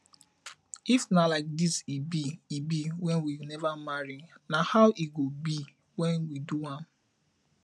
if na like this e be e be when we never marry na how e go be when we do am